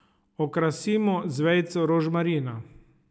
Okrasimo z vejico rožmarina.